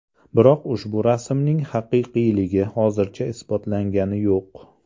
Biroq ushu rasmning haqiqiyligi hozircha isbotlangani yo‘q.